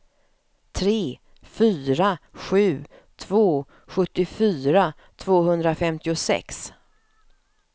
tre fyra sju två sjuttiofyra tvåhundrafemtiosex